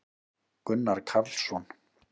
gunnar karlsson